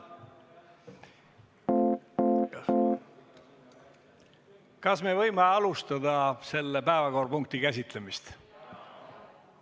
Kas me võime alustada selle päevakorrapunkti käsitlemist?